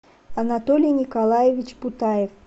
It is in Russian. анатолий николаевич путаев